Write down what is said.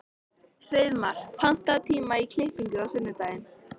Hreiðmar, pantaðu tíma í klippingu á sunnudaginn.